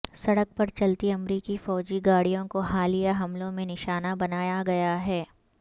سڑک پر چلتی امریکی فوجی گاڑیوں کو حالیہ حملوں میں نشانہ بنایا گیا ہے